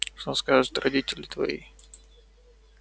что скажут родители твои